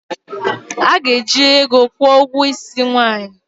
A ga-eji ego kwụọ ụgwọ isi nwaanyị